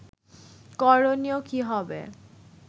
করণীয় কী হবে